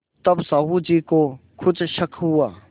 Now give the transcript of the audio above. तब साहु जी को कुछ शक हुआ